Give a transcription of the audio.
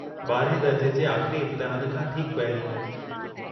12हें दर्ज जे आख़िरी इम्तिहान खां ठीकु पहिरीं।